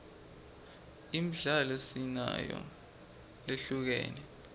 imidlalo sinayo lehlukene